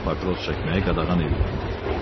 Burda papiros çəkməyi qadağan eləyirəm dedi.